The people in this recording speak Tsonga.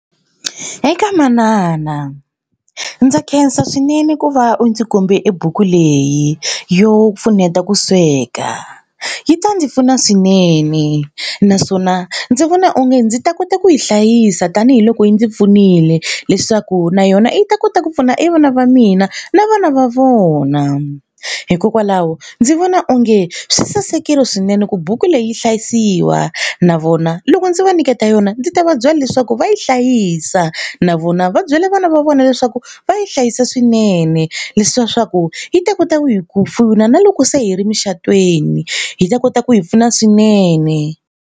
Eka manana ndza khensa swinene ku va u ndzi kombe e buku leyi yo pfuneta ku sweka. Yi ta ndzi pfuna swinene naswona ndzi vona onge ndzi ta kota ku yi hlayisa tanihiloko yi ndzi pfunile leswaku na yona yi ta kota ku pfuna i vana va mina na vana va vona. Hikokwalaho ndzi vona onge swi sasekile swinene ku buku leyi hlayisiwa na vona loko ndzi va nyiketa yona ndzi ta va byela leswaku va yi hlayisa na vona va byela vana va vona leswaku va yi hlayisa swinene. swa ku yi ta kota ku hi ku pfuna na loko se hi ri emucatweni hi ta kota ku hi pfuna swinene.